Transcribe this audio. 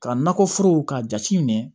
Ka nakɔforo k'a jate minɛ